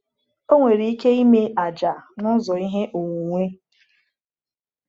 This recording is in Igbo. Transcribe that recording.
Ọ nwere ike ime àjà n’ụzọ ihe onwunwe.